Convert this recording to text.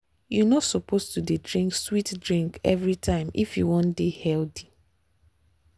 you no suppose to dey drink sweet drink every time if you wan dey healthy.